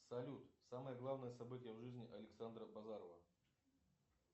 салют самое главное событие в жизни александра базарова